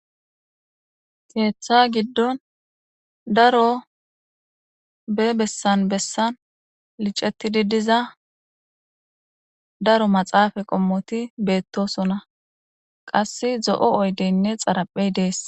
Sinetha giddon daro be bessan bessan licetidi diza daro maxaafa qommoti beettosona qasse zo7o oydeynne xaraphey dees.